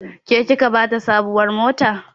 Ke kika bata sabuwar mota?